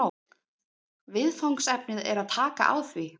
Viðfangsefnið er að taka á því